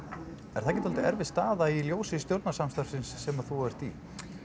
er það ekki dálítið erfið staða í ljósi stjórnarsamstarfsins sem þú ert í